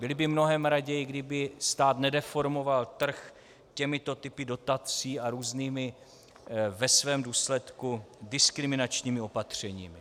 Byli by mnohem raději, kdyby stát nedeformoval trh těmito typy dotací a různými, ve svém důsledku diskriminačními opatřeními.